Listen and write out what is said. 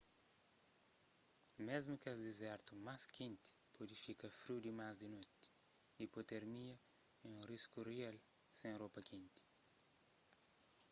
mésmu kes dizertu más kenti pode fika friu dimas di noti ipotermia é un risku rial sen ropa kenti